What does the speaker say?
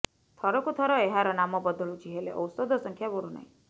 ଥରକୁ ଥର ଏହାର ନାମ ବଦଳୁଛି େହଲେ ଔଷଧ ସଂଖ୍ୟା ବଢ଼ୁନାହିଁ